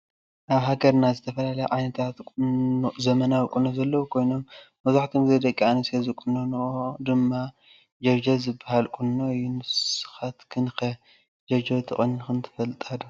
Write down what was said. አብ ሃገርና ዝተፈላለየ ዓይነታት ዘመናዊ ቁኖ ዘለው ኮይኖም መብዛሕቲኡ ግዜ ደቂ አንስትዮ ዝቁኖኖኦ ድማ ጀብጀብ ዝብሃል ቁኖ እዩ ።ንሰካትክን ከ ጀብጀብ ተቆኒንክን ትፈልጣ ዶ?